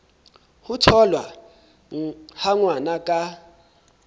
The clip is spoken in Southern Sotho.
ho tholwa ha ngwana ka